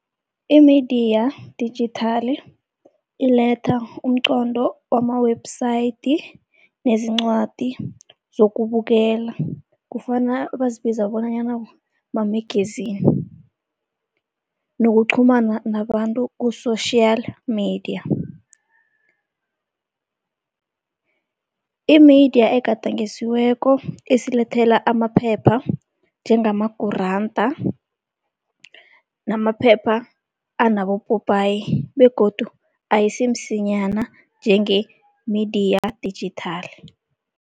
Imediya dijithali iletha umqondo wama-website nezincwadi zokubukela, kufana bazibiza bonanyana ma-magazine nokuqhumana nabantu ku-social media. Imediya egadangisiweko isilithela amaphepha njengamaguranda namaphepha anabopopayi begodu ayisimsinyana njengemediya dijithali.